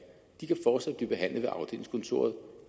de kan fortsat blive behandlet ved afdelingskontoret